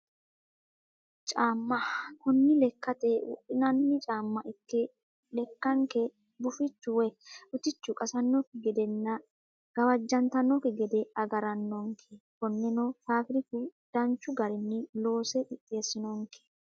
Caama, kuni lekate wodhinanni caama ikke leka'nke gufichu woyi utichu qasanokki gedenna gawajantanokki gede agarano'nke koneno faabiriku danchu garini loose qixeesano'nke